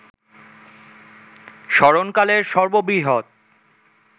স্মরণকালের সর্ববৃহৎ